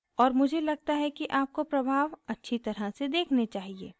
और मुझे लगता है कि आपको प्रभाव अच्छी तरह से देखने चाहिए